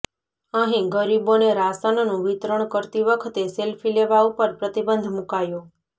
અહીં ગરીબોને રાશનનું વિતરણ કરતી વખતે સેલ્ફી લેવા ઉપર પ્રતિબંધ મૂકાયો